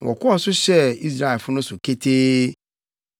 na wɔkɔɔ so hyɛɛ Israelfo no so ketee.